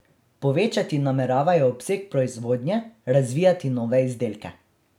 Povečati nameravajo obseg proizvodnje, razvijati nove izdelke.